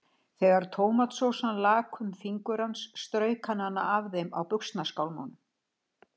Þegar tómatsósan lak um fingur hans, strauk hann hana af þeim á buxnaskálmunum.